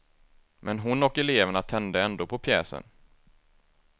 Men hon och eleverna tände ändå på pjäsen.